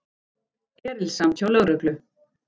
Erilsamt hjá lögreglu